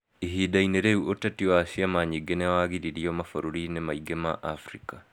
Ihinda-inĩ rĩu, ũteti wa ciama nyingĩ nĩ wagiririo mabũrũri-inĩ maingĩ ma Abirika.